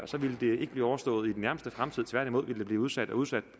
ville det ikke blive overstået i den nærmeste fremtid tværtimod ville byggeriet blive udsat og udsat